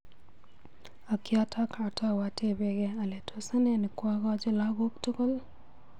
Ak yotok atau atebegei ale tos ane nekwokoji lakok tugul.